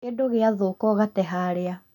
Kĩndũ gĩathũka ũgate harĩa